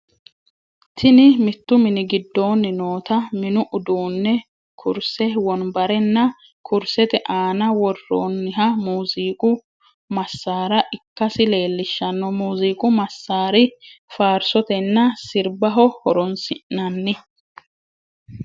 Tini mitu mini gidooni noota mini uduune kurise, wombarenna kurisete aananni woroniha muuzziqqu masaara ikkasi leellishano, muuziiqu masari faarisotenna siribaho horonsinnanni